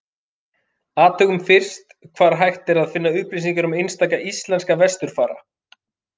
Athugum fyrst hvar hægt er að finna upplýsingar um einstaka íslenska vesturfara.